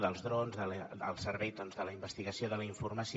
dels drons al servei de la investigació i de la informació